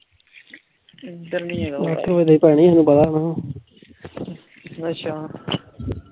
ਅੱਛਾ